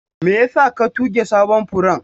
Me yasa ka tuge sabon furen?